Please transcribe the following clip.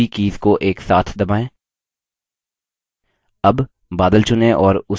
paste करने के लिए ctrl और v कीज़ को एक साथ दबाएँ